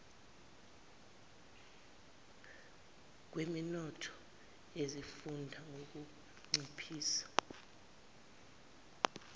kweminotho yezifunda ngukunciphisa